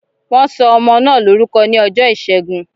Wọn sọ ọmọ náà lórúkọ ní ọjọ́ ìṣẹ́gun